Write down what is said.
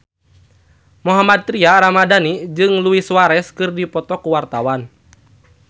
Mohammad Tria Ramadhani jeung Luis Suarez keur dipoto ku wartawan